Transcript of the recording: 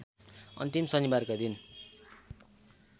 अन्तिम शनिबारका दिन